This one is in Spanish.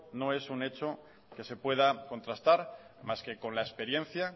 no es un hecho que se pueda contrastar más que con la experiencia